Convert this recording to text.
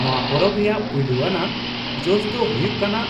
ᱱᱚᱶᱟ ᱯᱚᱨᱚᱵᱽ ᱨᱮᱭᱟᱜ ᱯᱩᱭᱞᱩ ᱟᱱᱟᱜ ᱡᱚᱥ ᱫᱚ ᱦᱩᱭᱩᱜ ᱠᱟᱱᱟ